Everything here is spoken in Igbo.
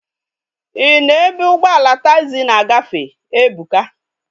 Ị nọ ebe ụgbọala taagzi na-agafe? Ebuka